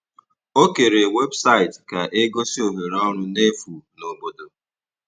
Ọ kèrè webụsaịtị ka e gosi ohere ọrụ n’efu n’obodo.